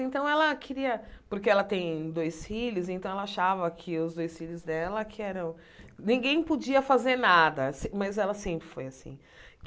Então ela queria... Porque ela tem dois filhos, então ela achava que os dois filhos dela que eram... Ninguém podia fazer nada, mas ela sempre foi assim.